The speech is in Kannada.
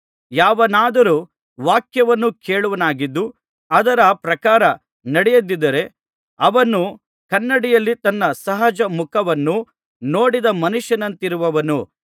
ಯಾವನಾದರೂ ವಾಕ್ಯವನ್ನು ಕೇಳುವವನಾಗಿದ್ದು ಅದರ ಪ್ರಕಾರ ನಡೆಯದಿದ್ದರೆ ಅವನು ಕನ್ನಡಿಯಲ್ಲಿ ತನ್ನ ಸಹಜ ಮುಖವನ್ನು ನೋಡಿದ ಮನುಷ್ಯನಂತಿರುವನು